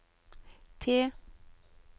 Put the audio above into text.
T